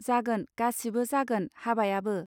जागोन, गासिबो जागोन हाबायाबो